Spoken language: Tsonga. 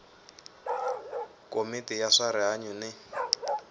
komiti ya swa rihanyu ni